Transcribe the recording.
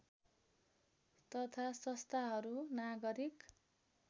तथा संस्थाहरू नागरिक